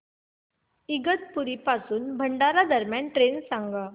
इगतपुरी पासून भंडारा दरम्यान ट्रेन सांगा